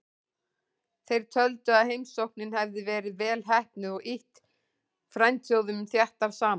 Þeir töldu að heimsóknin hefði verið vel heppnuð og ýtt frændþjóðunum þéttar saman.